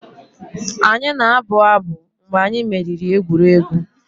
Anyị na-abụ abụ mgbe anyị meriri egwuregwu.